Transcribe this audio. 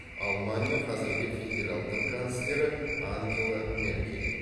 алмания қазіргі федералдық канцлері ангела меркель